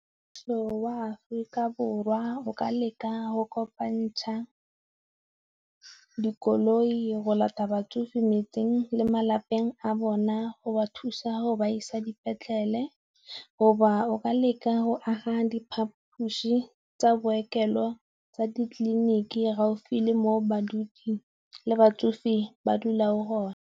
Mmuso wa Aforika Borwa o ka leka go kopantsha dikoloi go lata batsofe metseng le malapeng a bona go ba thusa go ba e tsa dipetlele, go ba o ka leka go aga diphaphusi tsa bookelo tsa ditleliniki gaufi le mo badudi le batsofe di ba dula o gona.